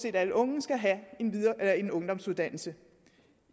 alle unge skal have en ungdomsuddannelse